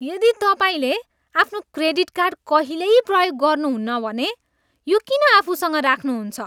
यदि तपाईँले आफ्नो क्रेडिट कार्ड कहिल्यै प्रयोग गर्नुहुन्न भने यो किन आफूसँग राख्नुहुन्छ?